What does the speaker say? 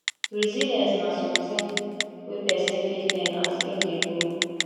resilience na something wey person fit learn as im dey grow